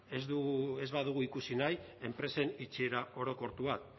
ez badugu ikusi nahi enpresen itxiera orokortu bat